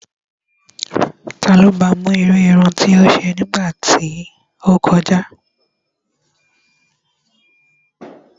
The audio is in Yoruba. Ta ló ba mú irú irun tí ó ṣe ní ìgbà tí ó kọjá?